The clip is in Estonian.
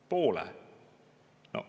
Poole!